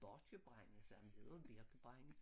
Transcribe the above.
Borkjebrænde sagde han det hedder birkebrænde